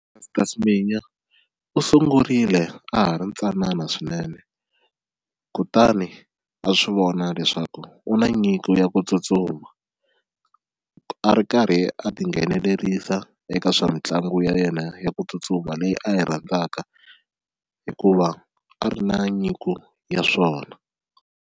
Caster Semenya u sungurile a ha ri ntsanana swinene kutani a swi vona leswaku u na nyiko ya ku tsutsuma a ri karhi a tinghenelerisa eka swa mitlangu ya yena ya ku tsutsuma leyi a yi rhandzaka hikuva a ri na nyiko ya swona.